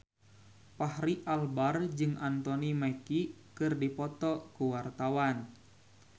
Fachri Albar jeung Anthony Mackie keur dipoto ku wartawan